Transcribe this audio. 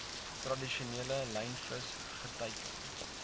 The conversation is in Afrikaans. tradisionele lynvis geteiken